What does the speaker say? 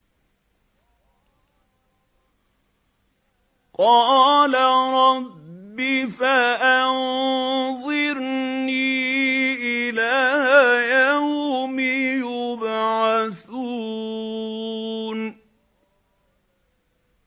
قَالَ رَبِّ فَأَنظِرْنِي إِلَىٰ يَوْمِ يُبْعَثُونَ